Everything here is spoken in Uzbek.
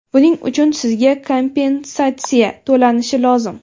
buning uchun sizga kompensatsiya to‘lanishi lozim.